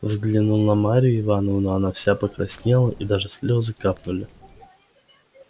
взглянул на марью ивановну она вся покраснела и даже слезы капнули